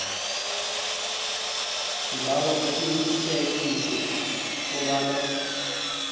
sibawa uqinisekise kobana